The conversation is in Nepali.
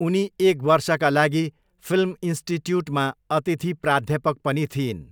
उनी एक वर्षका लागि फिल्म इन्स्टिट्युटमा अतिथि प्राध्यापक पनि थिइन्।